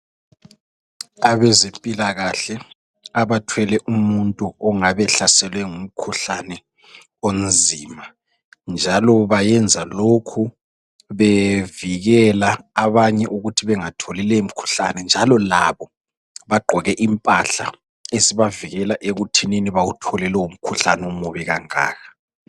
Abezempilakahle abathwele umuntu ongab' ehlaselwe ngumkhuhlane onzima. Njalo bayenza lokhu bevikela abanye ukuthi bengatholi lowo mkhuhlane njalo labo bagqoke impahla ezibavikela ukuthini bawuthole lowo mkhuhlane omubi kangaka.